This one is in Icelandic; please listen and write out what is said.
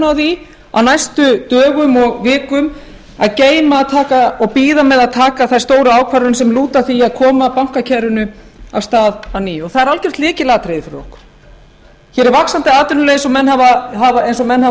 á því á næstu dögum og vikum að geyma og bíða með að taka þær stóru ákvarðanir sem lúta að því að koma bankakerfinu af stað að nýju og það er algert lykilatriði fyrir okkur hér er vaxandi atvinnuleysi eins og menn hafa